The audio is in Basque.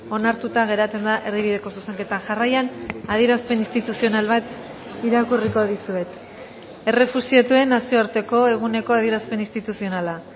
onartuta geratzen da erdibideko zuzenketa jarraian adierazpen instituzional bat irakurriko dizuet errefuxiatuen nazioarteko eguneko adierazpen instituzionala